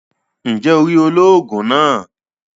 Njé o rí olóògùn náà?